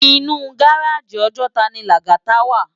Inú gáráji Òjòtá ni Lagata wá